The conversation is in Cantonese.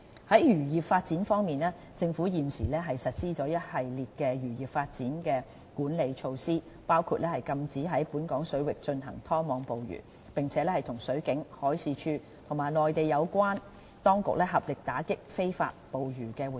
在漁業發展方面，政府現時實施了一系列漁業發展的管理措施，包括禁止在本港水域進行拖網捕魚，並與水警、海事處和內地有關當局合力打擊非法捕魚活動。